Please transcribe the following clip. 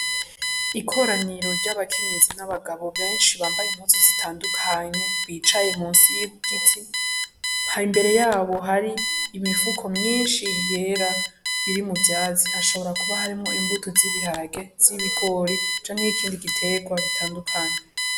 Ikoraniro ry'abakenyezi n'abagabo benshi bambaye impuzu zitandukanye, bicaye munsi y'igiti. Hari imbere yabo hari imifuko myinshi yera biri mu vyatsi. Hashobora kuba harimwo imbuto z'ibiharage, z'ibigori, canke ikindi giterwa bitandukanye.